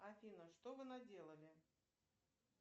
афина что вы наделали